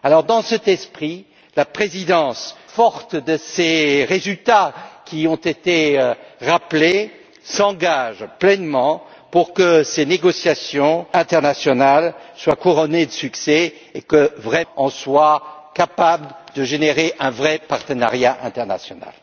Dans cet esprit, la présidence, forte de ces résultats qui ont été rappelés, s'engage pleinement pour que ces négociations internationales soient couronnées de succès et pour que nous soyons capables de générer un vrai partenariat international.